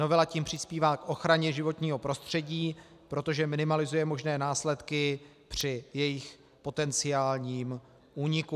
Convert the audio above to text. Novela tím přispívá k ochraně životního prostředí, protože minimalizuje možné následky při jejich potenciálním úniku.